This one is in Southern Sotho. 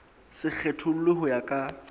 se kgethollwe ho ya ka